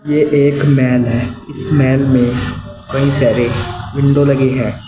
यह एक महल है इस महल में कई सारे विंडो लगे हैं।